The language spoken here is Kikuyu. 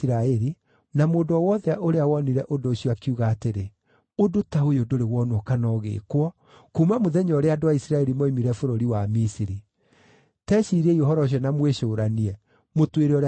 na mũndũ o wothe ũrĩa wonire ũndũ ũcio akiuga atĩrĩ, “Ũndũ ta ũyũ ndũrĩ wonwo kana ũgĩĩkwo, kuuma mũthenya ũrĩa andũ a Isiraeli moimire bũrũri wa Misiri. Teciriei ũhoro ũcio na mũwĩcũũranie, mũtwĩre ũrĩa tũgwĩka!”